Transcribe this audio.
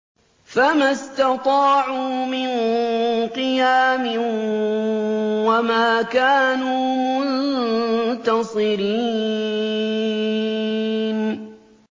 فَمَا اسْتَطَاعُوا مِن قِيَامٍ وَمَا كَانُوا مُنتَصِرِينَ